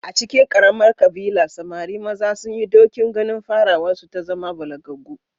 A cikin ƙaramar ƙabila, samari maza sun yi ɗokin ganin farawarsu ta zama balagaggu